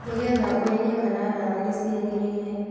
Nĩgetha ũmenye kana ndawa nĩciagĩrĩire